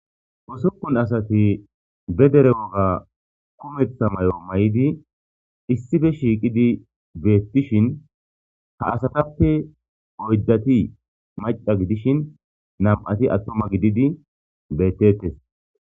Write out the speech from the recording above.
Usupun asati be dere woga kumetha mayo mayidi issippe shiqidi betishin ha asatappe oyidati Mac,ca gidishin nam,ati atuma gididi betetes